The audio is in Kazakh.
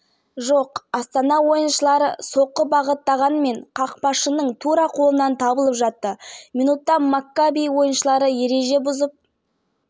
соққысы белгіленді метрлік нүктеден патрик твумасимүлт кеткен жоқ есеп минутта дмитрий шомконың әуелете асырған пасына патрик твумаси бірінші жетіп ойындағы